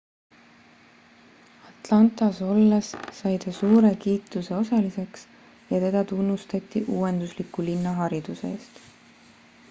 atlantas olles sai ta suure kiituse osaliseks ja teda tunnustati uuendusliku linnahariduse eest